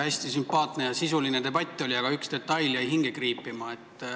Hästi sümpaatne ja sisuline debatt oli, aga üks detail jäi hinge kriipima.